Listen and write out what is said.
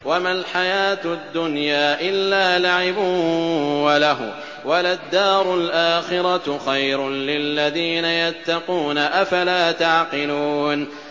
وَمَا الْحَيَاةُ الدُّنْيَا إِلَّا لَعِبٌ وَلَهْوٌ ۖ وَلَلدَّارُ الْآخِرَةُ خَيْرٌ لِّلَّذِينَ يَتَّقُونَ ۗ أَفَلَا تَعْقِلُونَ